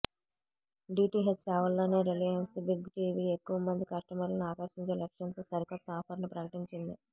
DTH సేవల్లోని Reliance Big TV ఎక్కువ మంది కస్టమర్లను ఆకర్షించే లక్ష్యంతో సరికొత్త ఆఫర్ ను ప్రకటించింది